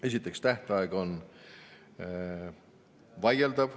Esiteks, tähtaeg on vaieldav.